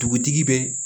Dugutigi bɛ